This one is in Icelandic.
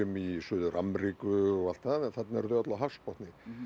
í Suður Ameríku og allt það en þarna eru þau öll á hafsbotni